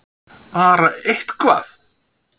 Bara eitthvað!!!